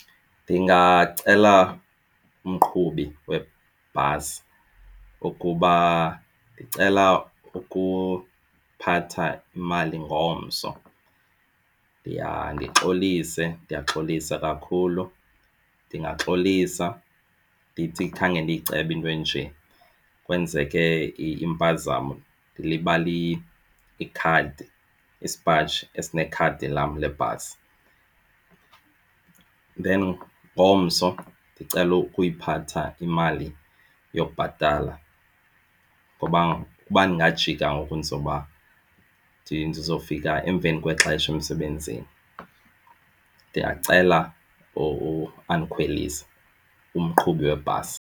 Ndingacela umqhubi webhasi ukuba ndicela ukuphatha imali ngomso, yha, ndixolise ndiyaxolisa kakhulu ndingaxolisa ndithi khange ndiyicebe into enje. Kwenzeke impazamo ndilibale ikhadi, isipaji esinekhadi lam lebhasi. Then ngomso ndicela ukuyiphatha imali yokubhatala ngoba ukuba ndingajika ngoku ndizofika emveni kwexesha emsebenzini. Ndingacela andikhwelise umqhubi webhasi.